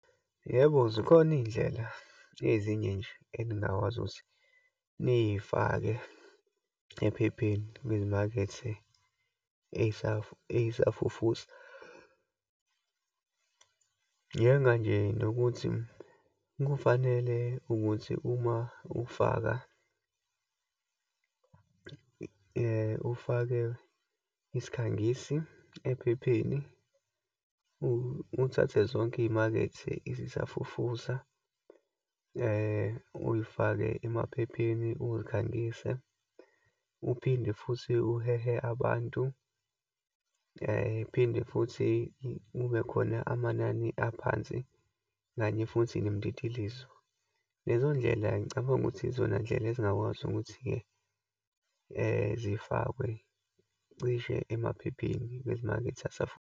Yebo, zikhona iyindlela ezinye nje enigakwazi ukuthi niyifake ephepheni kwizimakethe eyisafufusa. Njenga nje nokuthi kufanele ukuthi uma ufaka, ufake isikhangisi ephepheni, uthathe zonke iyimakethe ezisafufusa uyifake emaphepheni, uyikhangise, uphinde futhi uhehe abantu, phinde futhi kubekhona amanani aphansi, kanye futhi nemititilizo. Lezo ndlela ngicabanga ukuthi izona ndlela ezingakwazi ukuthi-ke zifakwe cishe emaphepheni kwezimakethe .